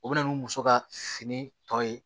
O bɛ na ni muso ka fini tɔ ye